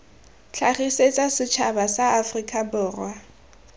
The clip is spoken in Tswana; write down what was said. tlhagisetsa setšhaba sa aforika borwa